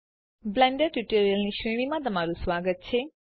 Blender tutorials ની શ્રેણીમાં સ્વાગત છે